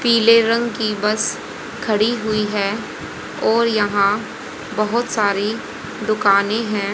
पीले रंग की बस खड़ी हुई हैं और यहाँ बहुत सारी दुकानें हैं।